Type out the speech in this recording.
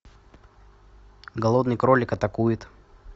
голодный кролик атакует